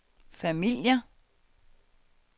familier